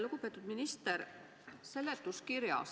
Lugupeetud minister!